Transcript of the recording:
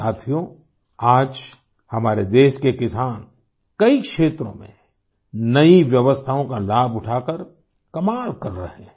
साथियों आज हमारे देश के किसान कई क्षेत्रों में नई व्यवस्थाओं का लाभ उठाकर कमाल कर रहे हैं